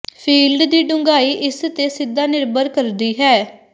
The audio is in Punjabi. ਫੀਲਡ ਦੀ ਡੂੰਘਾਈ ਇਸ ਤੇ ਸਿੱਧਾ ਨਿਰਭਰ ਕਰਦੀ ਹੈ